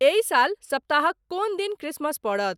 एहि साल सप्ताहक कोन दिन क्रिसमस परत